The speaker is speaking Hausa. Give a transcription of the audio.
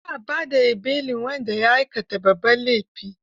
Ba a ba da belin wanda ya aikata babban laifi.